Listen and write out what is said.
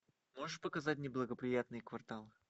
можешь показать неблагоприятные кварталы